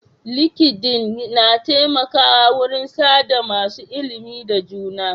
Linkedin na taimakawa wurin sa da masu ilimi da juna.